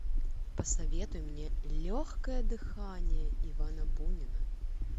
посоветуй мне легкое дыхание ивана бунина